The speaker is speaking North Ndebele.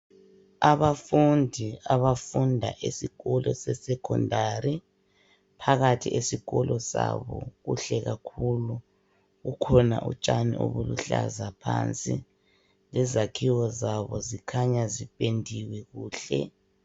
Abafundi abafunda esikolo sesekhondari. Phakathi esikolo sabo kuhle kakhulu. Kukhona utshani obuluhlaza phansi, lezakhiwo zabo zikhanya zipendiwe kuhle.